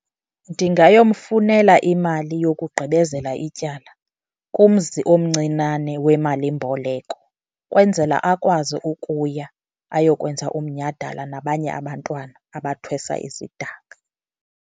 Ndingayomfunela imali yokugqibezela ityala kumzi omncinane wemalimboleko kwenzela akwazi ukuya ayokwenza umnyhadala nabanye abantwana abathwesa isidanga.